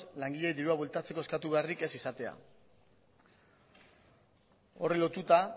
langileek dirua bueltatzeko eskatu beharrik ez izatea horri lotuta